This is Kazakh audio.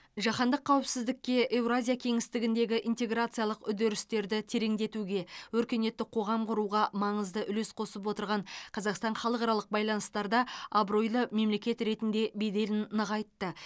жаһандық қауіпсіздікке еуразия кеңістігіндегі интеграциялық үдерістерді тереңдетуге өркениетті қоғам құруға маңызды үлес қосып отырған қазақстан халықаралық байланыстарда абыройлы мемлекет ретінде беделін нығайтты